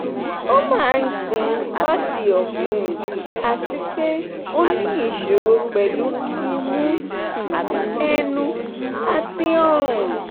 o ma n gbin lati ofun ati pe o ni isoro pelu imu um enu ati orun